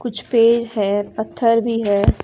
कुछ पेड़ है पत्थर भी है।